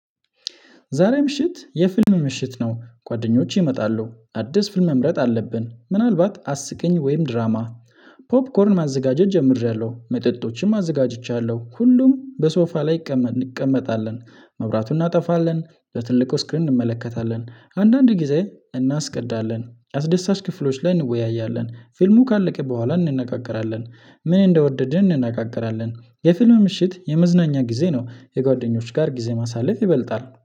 ዛሬ ምሽት የፊልም ምሽት ነው ጓደኞቼ ይመጣለሁ አዲስ ፊልም መምረጥ አለብን ምናልባት አስቀኝ ወይም ድራማ። ፖፕኮርን ማዘጋጀት ጀምሬያለሁ መጠጦችም አዘጋጅቻለሁ ሁሉም በሶፋ ላይ እንቀመጣለን መብራቱን እናጠፋለን በትልቁ ስክሪን እንመለከታለን አንዳንድ ጊዜ እናስቀዳለን አስደሳች ክፍሎች ላይ እንወያያለን ፊልሙ ካለቀ በኋላ እንነጋገራለን። ምን እንደወደድን እንናገራለን የፊልም ምሽት የመዝናኛ ጊዜ ነው። የጓደኞች ጋር ጊዜ ማሳለፍ ይበልጣል